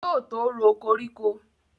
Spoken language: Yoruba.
Yóò tó ro koríko